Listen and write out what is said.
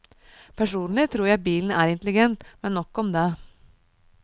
Personlig tror jeg bilen er intelligent, men nok om det.